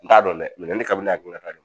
N t'a dɔn dɛ ne ka ne hakili la t'a dɔn